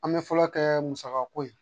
An bɛ fɔlɔ kɛ musaka ko ye